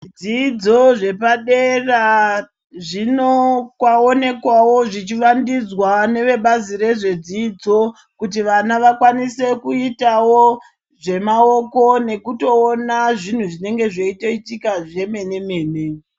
...dzidzo zvepadera zvinoonekwawo zvichivandudzwa nevebazi rezvedzidzo kuti vana vakwanisewo kuitawo zvemaoko nekutoona zvinhu zvinenge zveitoitika zvemene-mene.